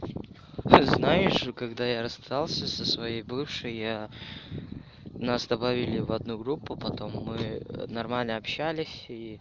ты знаешь когда я расстался со своей бывшей я нас добавили в одну группу потом мы нормально общались и